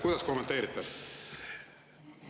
Kuidas kommenteerite?